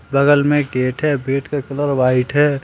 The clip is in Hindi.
बगल में गेट है गेट का कलर व्हाइट है।